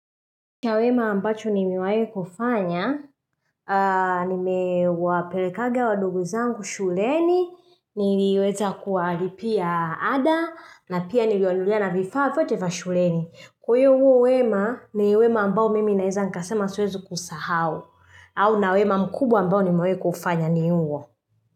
Kwa wema ambacho nimewai kufanya, nimewapelekaga wandogu wangu shuleni, niliweza kualipia ada, na pia nilionulia na vifavyo tefa shuleni. Huyu huo uwema ni wema ambao mimi naiza naweza kasema siwezi kusahao, au na wema mkubwa ambao ni mawe kufanya ni huo.